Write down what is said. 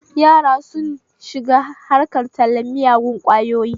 Yara sun shiga harkar tallen miyagun ƙwayoyi